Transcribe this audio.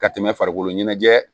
Ka tɛmɛ farikolo ɲɛnajɛ